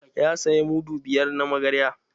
Ya saya mudu biyar na magarya.